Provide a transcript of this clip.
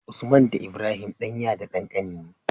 Usman da Ibrahim ɗan ya da ɗan kani ne